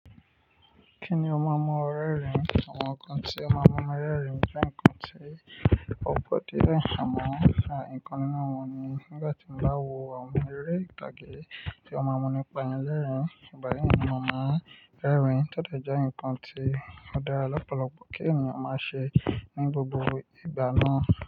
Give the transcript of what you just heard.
Kíni o máa mu o rẹ rìn? Àwọn nǹkan tí o máa mu mi rẹ rìn jẹ́ nǹkan tí ó pọ̀ die amọ̀ nǹkan nu wọ́n ni. Nígbà tí mo bá wo àwọn eré ìtàgé tí ó máa mu ní pa ni lerin ìgbà yii ni mo máa rẹ rìn, todé jẹ́ nǹkan tí ó dára lọ́pọ̀lọpọ̀ kí ènìyàn máa ṣe ní gbogbo ìgbà náà.